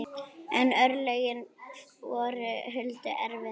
En örlögin voru Huldu erfið.